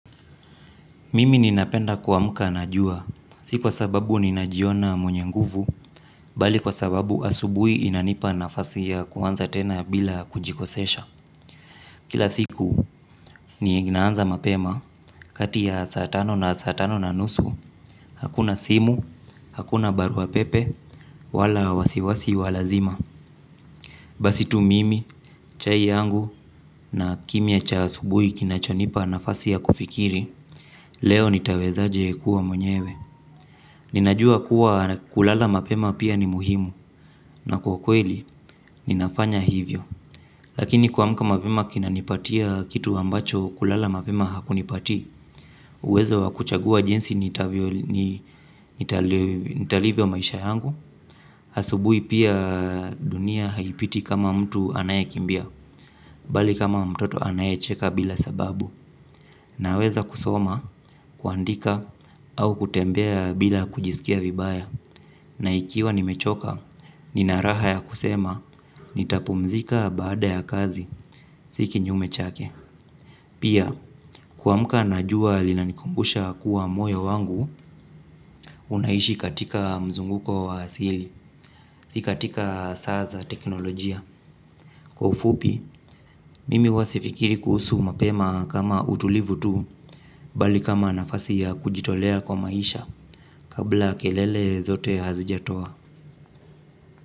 Mimi ninapenda kuamka na jua, si kwa sababu nina jiona mwenye nguvu, bali kwa sababu asubuhi inanipa nafasi ya kuanza tena bila kujikosesha. Kila siku, nina anza mapema, kati ya saa tano na saa tano na nusu, hakuna simu, hakuna barua pepe, wala wasiwasi wa lazima. Basitu mimi, chai yangu, na kimya cha asubuhi kinacho nipa nafasi ya kufikiri, leo nitawezaje kuwa mwenyewe. Ninajua kuwa kulala mapema pia ni muhimu na kwa kweli ninafanya hivyo. Lakini kuamka mapema kinanipatia kitu ambacho kulala mapema hakunipati. Uwezo wa kuchagua jinsi nitalivyo maisha yangu asubui pia dunia haipiti kama mtu anaye kimbia. Bali kama mtoto anaye cheka bila sababu naweza kusoma, kuandika au kutembea bila kujisikia vibaya. Na ikiwa nimechoka, nina raha ya kusema, nitapumzika baada ya kazi, si kinyume chake. Pia, kuamuka najua linanikumbusha kuwa moyo wangu, unaishi katika mzunguko wa asili, si katika saa za teknolojia. Kwa ufupi, mimi sifikiri kuhusu mapema kama utulivu tu, bali kama nafasi ya kujitolea kwa maisha kabla kelele zote hazijatoa.